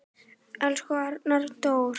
Elsku Arnar Dór.